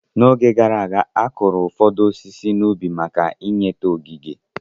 N'oge gara aga, akụrụ ụfọdụ osisi n'ubi maka inweta ogige.